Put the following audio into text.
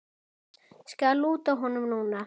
Skal lúta honum núna.